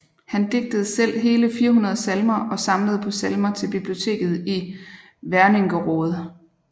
Han digtede selv hele 400 salmer og samlede på salmer til biblioteket i Wernigerode